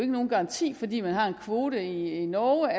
nogen garanti at fordi man har en kvote i norge